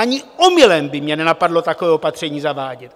Ani omylem by mě nenapadlo takové opatření zavádět!